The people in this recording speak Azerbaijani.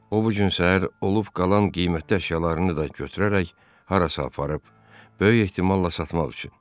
O bu gün səhər olub qalan qiymətli əşyalarını da götürərək harasa aparıb, böyük ehtimalla satmaq üçün.